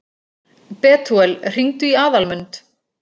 Betúel, hringdu í Aðalmund.